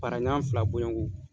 Para ɲa fila bɔnɲɔgo.